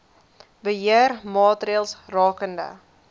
beheer maatreëls rakende